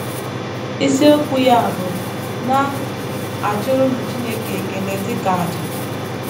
Isiokwu ya bụ “ Na - achụrụnụ Chineke Ekele Dị Ka Àjà. ”